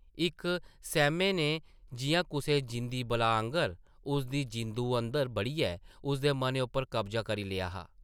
इक सैह्मा नै जिʼयां कुसै जींदी बलाऽ आंगर उसदी जिंदू अंदर बड़ियै उसदे मनै उप्पर कब्जा करी लेआ हा ।